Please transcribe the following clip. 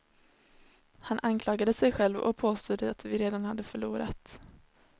Han anklagade sig själv, och påstod att vi redan hade förlorat.